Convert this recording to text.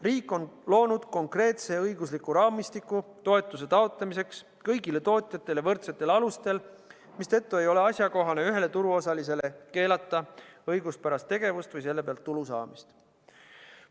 Riik on loonud konkreetse õigusliku raamistiku toetuse taotlemiseks kõigile tootjatele võrdsetel alustel, mistõttu ei ole asjakohane ühele turuosalisele keelata õiguspärast tegevust või selle pealt tulu saamist.